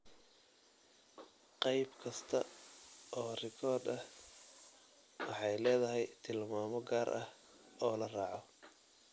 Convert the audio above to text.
Qayb kasta oo rikoodh ah waxay leedahay tilmaamo gaar ah oo la raaco.